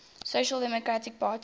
social democratic parties